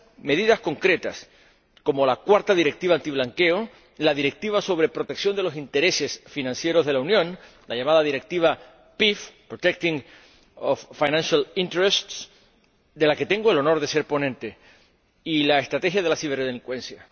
medidas concretas, como la cuarta Directiva antiblanqueo, la Directiva sobre protección de los intereses financieros de la Unión, la llamada Directiva PIF, de la que tengo el honor de ser ponente, y la estrategia de la ciberdelincuencia.